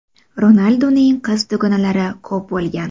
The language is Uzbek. Ronalduning qiz dugonalari ko‘p bo‘lgan.